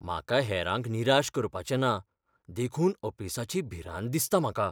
म्हाका हेरांक निराश करपाचें ना, देखून अपेसाची भिरांत दिसता म्हाका.